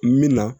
Min na